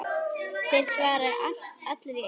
Þeir svara allir í einu.